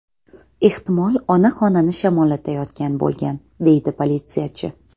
Ehtimol, ona xonani shamollatayotgan bo‘lgan”, deydi politsiyachi.